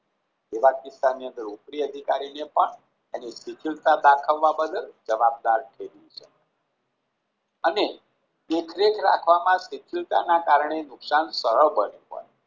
તેવા કિસ્સાની અંદર ઉપરી અદિકારીને પણ દાખવવા બદલ જવાબદાર ઠેરવી છે અને દેખરેખ રાખવામાં નુકસાન સરળ બન્યું હોય